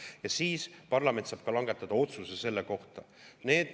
Ja siis parlament saab langetada otsuse selle kohta.